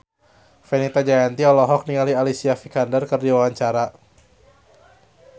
Fenita Jayanti olohok ningali Alicia Vikander keur diwawancara